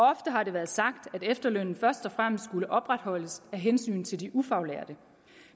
har det været sagt at efterlønnen først og fremmest skulle opretholdes af hensyn til de ufaglærte